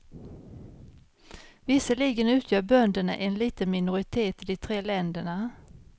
Visserligen utgör bönderna en liten minoritet i de tre länderna.